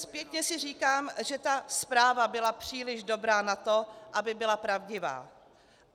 Zpětně si říkám, že ta zpráva byla příliš dobrá na to, aby byla pravdivá.